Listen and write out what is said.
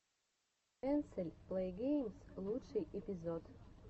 энсель плэйгеймс лучший эпизод